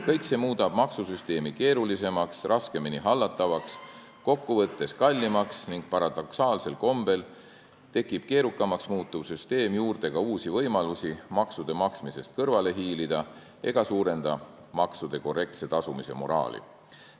Kõik see muudab maksusüsteemi keerulisemaks, raskemini hallatavaks, kokkuvõttes kallimaks ning paradoksaalsel kombel tekitab keerukamaks muutuv süsteem juurde ka uusi võimalusi maksude maksmisest kõrvale hiilida ega tugevda maksude korrektse tasumise moraali.